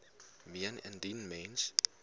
meen indien mens